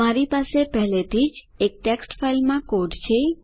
મારી પાસે પહેલેથી જ એક ટેક્સ્ટ ફાઇલમાં કોડ છે